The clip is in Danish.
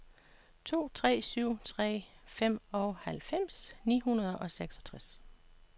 to tre syv tre femoghalvfems ni hundrede og seksogtres